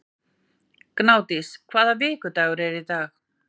Gnádís, hvaða vikudagur er í dag?